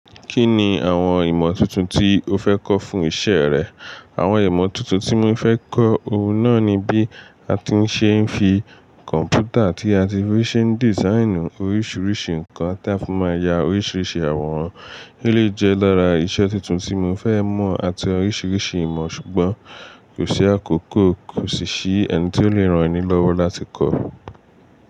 Kí ni àwọn ìmọ̀ tuntun tí o fẹ́ kọ́ fún isẹ́ rẹ? Àwọn ìmọ̀ tuntun tí mo fẹ́ kọ́, ohun náà ni bí a ti ń ṣe ń fi kọ̀mpútà tí a ti ń ṣe ń dìsáìnì oríṣiríṣi nǹkan tí a fún máa yá oríṣiríṣi àwòrán. Ó lè jẹ́ lára iṣẹ́ tuntun tí mo fẹ́ mọ̀ àti oríṣiríṣi ìmọ̀ ṣùgbọ́n kò sí àkókò, kò sì ṣí ẹni tí ó lè rán ni lọ́wọ́ láti kọ́.